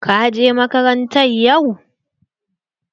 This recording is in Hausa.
Ka je makaranta yau?